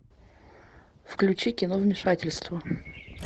включи кино вмешательство